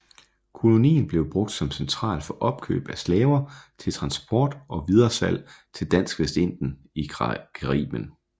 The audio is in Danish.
Kolonien blev brugt som central for opkøb af slaver til transport og videresalg til Dansk Vestindien i Caribien